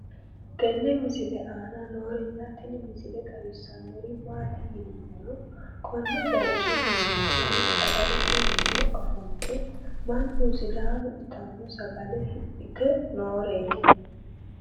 tenne misile aana noorina tini misile xawissannori maati yinummoro konne bayiichcho leellanohu sagalette minne offolitte mannu sidaamu ittanno sagale hidhitte nooreetti